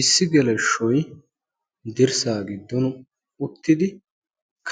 Issi geleshshoy dirssaa giddon uttidi